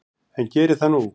En geri það nú.